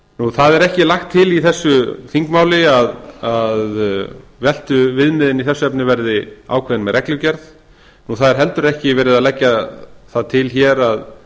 það er ekki lagt til í þessu þingmáli að veltuviðmið í þessu efni verði ákveðin með reglugerð það er heldur ekki verið að leggja það til hér að